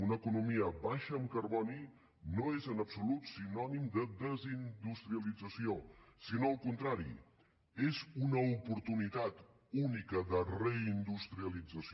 una economia baixa en carboni no és en absolut sinònim de desindustrialització sinó al contrari és una oportunitat única de reindustrialització